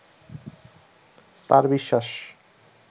তার বিশ্বাস